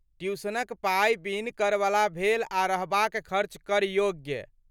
ट्यूशनक पाइ बिन करवला भेल आ रहबाक खर्च कर योग्य।